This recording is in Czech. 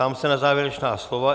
Ptám se na závěrečná slova.